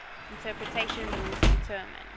interpretation rules determine